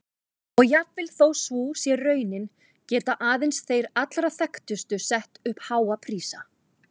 Og jafnvel þó sú sé raunin geta aðeins þeir allra þekktustu sett upp háa prísa.